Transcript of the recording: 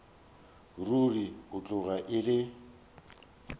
ruri e tloga e le